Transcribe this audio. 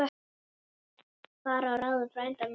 Fara að ráðum frænda míns.